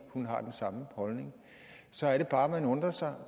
hun har den samme holdning så er det bare man undrer sig